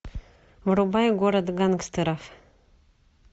врубай город гангстеров